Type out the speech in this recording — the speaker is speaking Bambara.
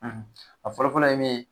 a fɔlɔfɔlɔ ye min ye